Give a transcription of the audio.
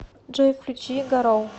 джой включи гароу